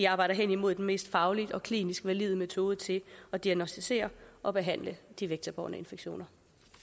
arbejdes hen imod den mest fagligt og klinisk valide metode til at diagnosticere og behandle de vektorbårne infektioner